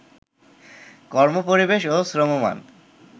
কর্মপরিবেশ ও শ্রমমান